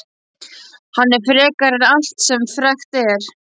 Hann er frekari en allt sem frekt er.